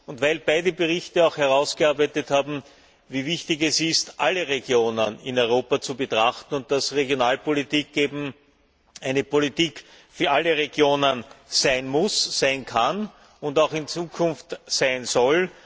und weil in beiden Berichten auch herausgearbeitet wurde, wie wichtig es ist, alle Regionen in Europa zu betrachten, und dass Regionalpolitik eben eine Politik für alle Regionen sein muss, sein kann und auch in Zukunft sein soll.